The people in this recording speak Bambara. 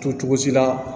To cogo si la